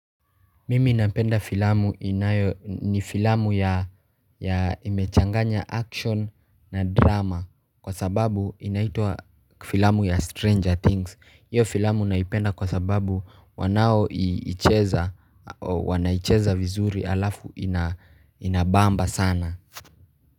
Mimi napenda filamu inayo ni filamu ya imechanganya action na drama Kwa sababu inaitwa filamu ya Stranger Things hiyo filamu naipenda kwa sababu wanaoicheza wanaicheza vizuri alafu inabamba sana.